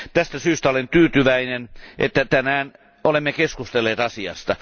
Tästä syystä olen tyytyväinen, että tänään olemme keskustelleet asiasta.